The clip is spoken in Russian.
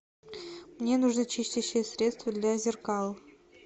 мне нужно чистящее средство для зеркал